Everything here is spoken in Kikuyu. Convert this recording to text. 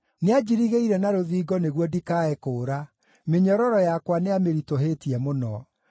Nĩanjirigĩire na rũthingo nĩguo ndikae kũũra; mĩnyororo yakwa nĩamĩritũhĩtie mũno.